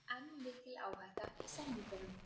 Enn mikil áhætta í samningunum